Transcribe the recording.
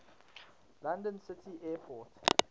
london city airport